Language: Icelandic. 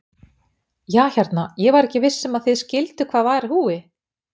Ja hérna, ég var ekki viss um að þið skilduð hvað var í húfi.